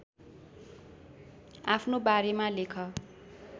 आफ्नो बारेमा लेख